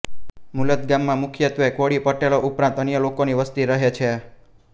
મુલદ ગામમાં મુખ્યત્વે કોળી પટેલો ઉપરાંત અન્ય લોકોની વસ્તી રહે છે